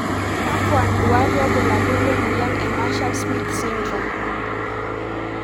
Kakwa nduat wobulabul le moyian e Marshall smith syndrome?